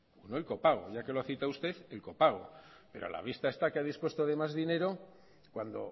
no el copago ya que lo ha citado usted el copago pero a la vista está que ha dispuesto de más dinero cuando